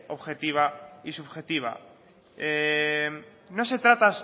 objetiva y subjetiva